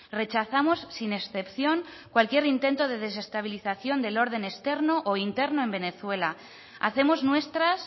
rechazamos sin excepción cualquier intento de desestabilización del orden externo o interno en venezuela hacemos nuestras